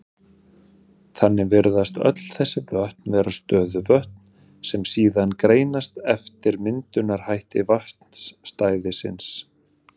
Þannig virðast öll þessi vötn vera stöðuvötn, sem síðan greinast eftir myndunarhætti vatnsstæðisins.